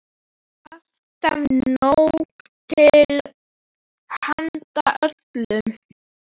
Alltaf nóg til handa öllum.